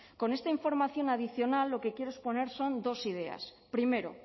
con esta información adicional lo que quiero exponer son dos ideas primero